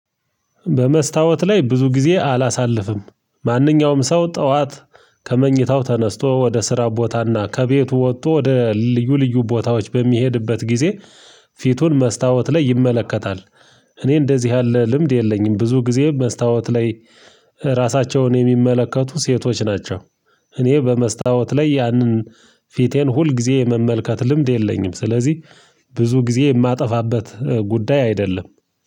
በመስታወት ላይ ብዙ ጊዜ አላሳልፍም ማንኛውም ሰው ጠዋት ከመኝታው ተነስቶ ወደ ስራ ቦታና ከቤቱ ወጥቶ ወደ ልዩ ልዩ ቦታዎች በሚሄድበት ጊዜ ፊቱን መስታወት ላይ ይመለከታል። እኔ እንደዚህ ያለ ልምድ የለኝም ብዙ ጊዜ መስታወት ላይ ራሳቸውን የሚመለከቱ ሴቶች ናቸው። እኔ በመስታወት ላይ ያንን ፊቴን ሁል ጊዜ የመመልከት ልምድ የለኝም። ስለዚህ ብዙ ጊዜ የማጠፋበት ጉዳይ አይደለም